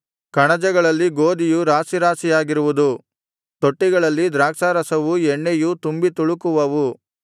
ಕಣಜಗಳಲ್ಲಿ ಗೋದಿಯು ರಾಶಿರಾಶಿಯಾಗಿರುವುದು ತೊಟ್ಟಿಗಳಲ್ಲಿ ದ್ರಾಕ್ಷಾರಸವೂ ಎಣ್ಣೆಯೂ ತುಂಬಿತುಳುಕುವವು